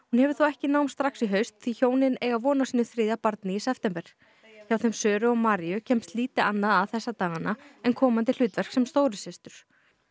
hún hefur þó ekki nám í haust því hjónin eiga von á sínu þriðja barni í september hjá þeim Söru og Maríu kemst lítið annað að þessa dagana en komandi hlutverk sem stóru systur